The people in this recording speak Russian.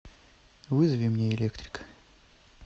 вызови мне электрика